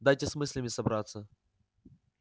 дайте с мыслями собраться